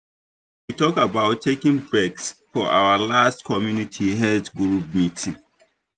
we talk about taking breaks for our last community health group meeting.